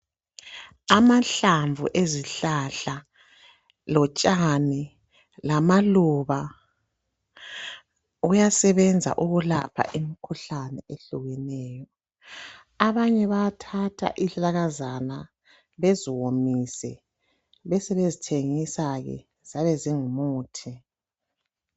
Amahlamvu ezihlahla lotshani lamaluba kuyasebenza ukulapha imikhuhlane ehlukeneyo . Abanye bayathatha izihlahlakazana beziwomise besebezithengisa ke ziyabe zingumuthi.